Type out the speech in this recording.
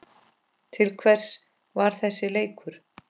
Til hvers var þessi leikur?